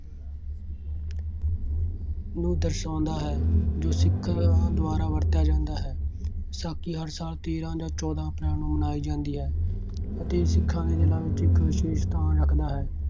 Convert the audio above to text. ਨੂੰ ਦਰਸਾਉਂਦਾ ਹੈ ਜੋ ਸਿੱਖ ਦੁਆਰਾ ਵਰਤਿਆ ਜਾਂਦਾ ਹੈ। ਵਿਸਾਖੀ ਹਰ ਸਾਲ ਤੇਰਾਂ ਜਾਂ ਚੋਦਾਂ ਅਪ੍ਰੈਲ ਨੂੰ ਮਨਾਈ ਜਾਂਦੀ ਹੈ ਅਤੇ ਸਿੱਖਾਂ ਦੇ ਦਿਲਾਂ ਵਿੱਚ ਇੱਕ ਵਿਸ਼ੇਸ਼ ਸਥਾਨ ਰੱਖਦਾ ਹੈ।